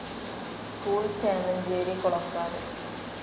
School, Chemancheri Kolakkad U.